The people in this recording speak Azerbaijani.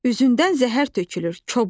Üzündən zəhər tökülür, kobud.